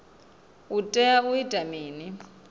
u tea u ita mini